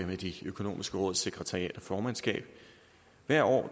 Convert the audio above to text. med de økonomiske råds sekretariat og formandskab hvert år